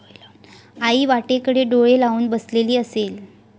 आई वाटेकडे डोळे लावून बसलेली असेल